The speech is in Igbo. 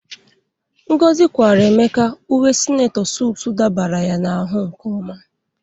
Ngozi kwaara Emeka uwe sinetọ sutu dabara ya n'ahụ nke ọma.